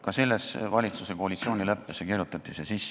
Ka selle valitsuse koalitsioonileppesse kirjutati see sisse.